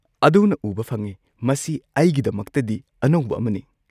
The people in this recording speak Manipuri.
ꯑꯗꯨꯅ ꯎꯕ ꯐꯪꯏ, ꯃꯁꯤ ꯑꯩꯒꯤꯗꯃꯛꯇꯗꯤ ꯑꯅꯧꯕ ꯑꯃꯅꯤ꯫